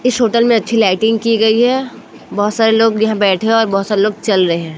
इस होटल में अच्छी लाइटिंग की गई है बहोत सारे लोग यहां बैठे और बहोत सारे लोग चल रहे है।